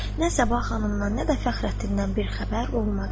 Nə sabah xanımdan nə də Fəxrəddindən bir xəbər olmadı.